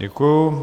Děkuji.